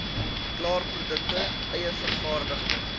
klaarprodukte eie vervaardigde